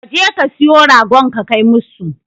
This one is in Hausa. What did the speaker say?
Ka je ka siyo ragon ka kai musu.